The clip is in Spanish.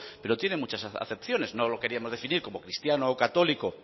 pero tiene muchas acepciones no lo queríamos definir como cristiano o católico